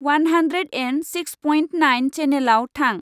One hundred and six point nine चैनेलाव थां।